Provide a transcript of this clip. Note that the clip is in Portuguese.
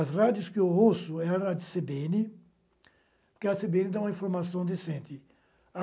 As rádios que eu ouço é a rádio cê bê ene, porque a cê bê ene dá uma informação decente.